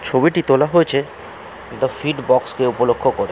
ছবিটি তোলা হয়েছে দা ফিট বক্স কে উপলক্ষ করে।